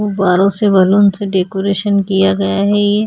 गुब्बारों से बैलून से डेकोरेशन किया गया है ये--